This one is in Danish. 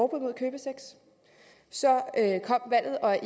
mod købesex så kom valget og